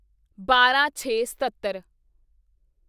ਬਾਰਾਂਛੇਸਤੱਤਰ